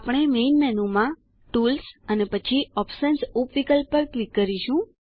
આપણે મેઇન મેનુમાં ટૂલ્સ અને પછી ઓપ્શન્સ ઉપ વિકલ્પ પર ક્લિક કરીશું